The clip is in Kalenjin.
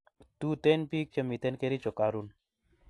tuten pik che miten Kericho karun